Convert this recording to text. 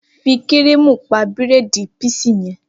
Fí kírìmù pa bírèèdì píísì yẹn!